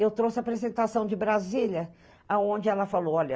Eu trouxe a apresentação de Brasília, onde ela falou, olha...